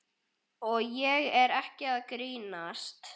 Og ég er ekki að grínast.